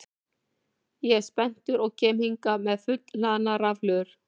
Ég er spenntur og kem hingað með fullhlaðnar rafhlöður.